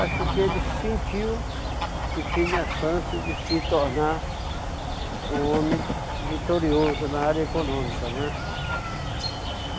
Acho que ele sentiu que tinha chance de se tornar um homem vitorioso na área econômica, né?